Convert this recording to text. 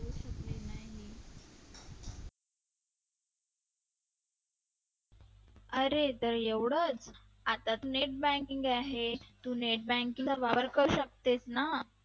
अरे तर एवढेच आता तर Net banking आहे तू net banking चा वापर करू शकतेस ना